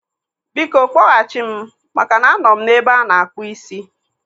Biko, kpọghachi m maka na anọ m n'ebe ana-akpụ ísí